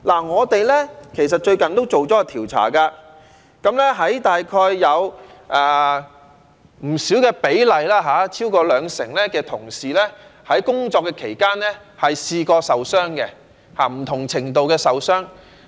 我們其實最近做了調查，大約有不低的比例，即超過兩成的外賣員在工作期間曾經受傷，不同程度的受傷。